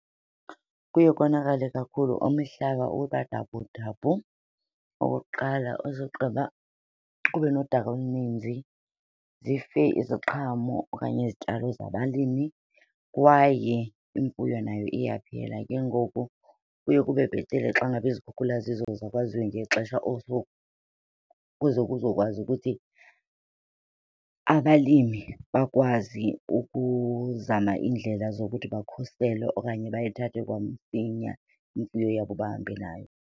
Kuye konakale kakhulu, umhlaba ubadabhudabhu okokuqala, usogqiba ube nodaka oluninzi zife iziqhamo okanye izityalo zabalimi kwaye imfuyo nayo iyaphela. Ke ngoku kuye kube bhetele xa ngaba izikhukhula zizoza kwaziwe ngexesha also kuze kuzokwazi ukuthi abalimi bakwazi ukuzama iindlela zokuthi bakhusele okanye bayithathe kwamsinya imfuyo yabo bahambe nayo.